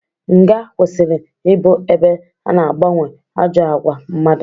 Nga kwesịrị ịbụ ebe ana agbanwe ajọ àgwà mmadụ.